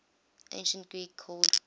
ancient greek called